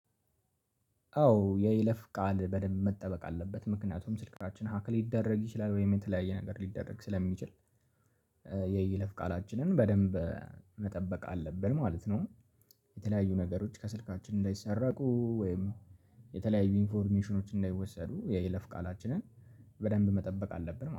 አዎ የይለፍ ቃል በደንብ መጠበቅ አለበት ምክንያቱም ስልካችን ሀክል ይደረግ ይችላል ወይም የተለያየ ነገር ሊደረግ ስለሚችል የእይለፍ ቃላችንን በደንብ መጠበቅ አለብን ማለት ነው። የተለያዩ ነገሮች ከስልካችን እንዳይሰራቁ ወይም የተለያዩ ኢንፎርሜሽኖች እንዳይወሰዱ የይለፍ ቃላችንን በደንብ መጠበቅ አለብን።